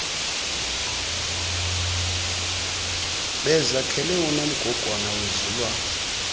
bezakhele unomgogwana wezulwana